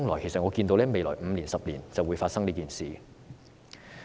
其實我看到未來5年、10年這件事便會發生。